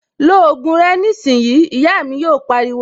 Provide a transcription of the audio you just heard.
Lo ògùn rẹ nísìnyìí', Ìyá mi yò pariwo